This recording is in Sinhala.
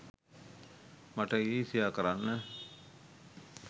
මට ඊරිසියා කරන්න